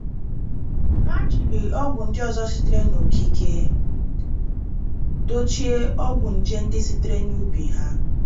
Ha jiri ọgwụ ndị ọzọ sitere n'okike dochie ọgwụ nje ndị sitere n'ubi ha.